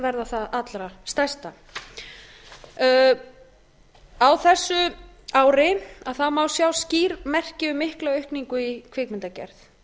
verða það allra stærsta á þessu ári má sjá skýr merki um mikla aukningu í kvikmyndagerð